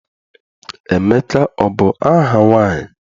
Emeka abụ aha nwaanyị?